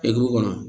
E dugu kɔnɔ